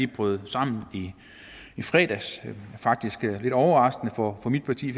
brød sammen i fredags og faktisk lidt overraskende for mit parti